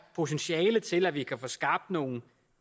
potentiale til at vi kan få skabt nogle